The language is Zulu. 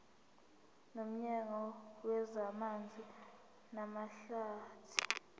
nomnyango wezamanzi namahlathi